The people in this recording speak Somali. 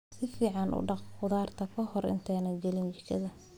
Si fiican u dhaq khudaarta ka hor intaadan gelin jikada.